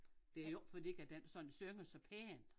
Det jo ikke fordi at den sådan synger så pænt